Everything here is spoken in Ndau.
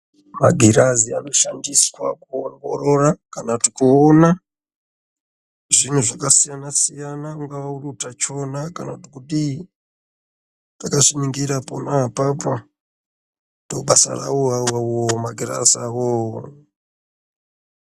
Magirazi anoshandiswa kuongorora kana kuti kuona zvinhuzvakasiyana siyana .Kungava uri utachiona kana kuti kudii ,ndobasa rawo magirazi ona awawo.